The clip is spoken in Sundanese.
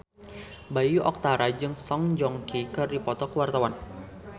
Bayu Octara jeung Song Joong Ki keur dipoto ku wartawan